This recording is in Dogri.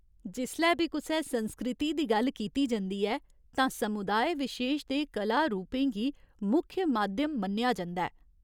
जिसलै बी कुसै संस्कृति दी गल्ल कीती जंदी ऐ तां समुदाय विशेश दे कला रूपें गी मुक्ख माध्यम मन्नेआ जंदा ऐ।